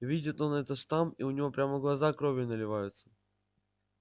видит он этот штамп и у него прямо глаза кровью наливаются